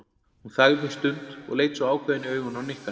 Hún þagði um stund og leit svo ákveðin í augun á Nikka.